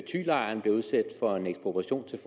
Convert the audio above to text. thylejren bliver udsat for en ekspropriation til